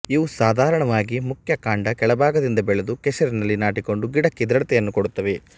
ಇವು ಸಾಧಾರಣವಾಗಿ ಮುಖ್ಯಕಾಂಡ ಕೆಳಭಾಗದಿಂದ ಬೆಳೆದು ಕೆಸರಿನಲ್ಲಿ ನಾಟಿಕೊಂಡು ಗಿಡಕ್ಕೆ ದೃಢತೆಯನ್ನು ಕೊಡುತ್ತವೆ